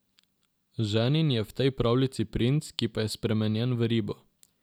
Ženin je v tej pravljici princ, ki pa je spremenjen v ribo.